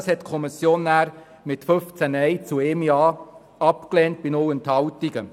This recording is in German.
Dies hat die Kommission mit 15 Nein zu 1 Ja bei 0 Enthaltungen abgelehnt.